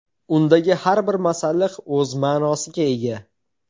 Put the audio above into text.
Undagi har bir masalliq o‘z ma’nosiga ega.